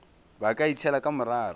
ba ka itšhela ka morara